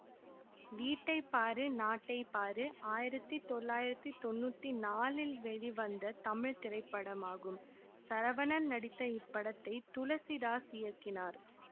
வீட்டைப்பாரு நாட்டைப்பாரு ஆயிரத்தி தொள்ளாயிரத்தி தொன்னூத்தி நாலில் வெளிவந்த தமிழ் திரைப்படமாகும் சரவணன் நடித்த இப்படத்தை துளசிதாஸ் இயக்கினார்